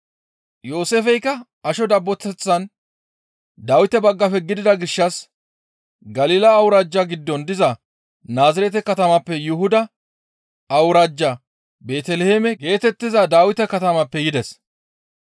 Yooseefeykka asho dabboteththan Dawite baggafe gidida gishshas Galila awuraajja giddon diza Naazirete katamappe Yuhuda awuraajja Beeteliheeme geetettiza Dawite katamappe yides.